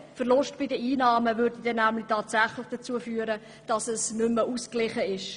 Genau diese Einnahmenverluste würden tatsächlich dazu führen, dass das Budget nicht mehr ausgeglichen wäre.